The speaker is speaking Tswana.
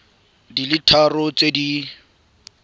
di le tharo tse di